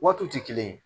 Waatiw tɛ kelen ye